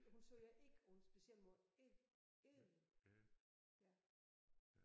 Hun sagde eg på en speciel måde eg eg ja